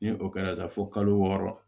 Ni o kɛra sa fo kalo wɔɔrɔ